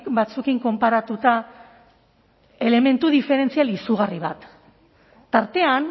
batzuekin konparatuta elementu diferentzial izugarri bat tartean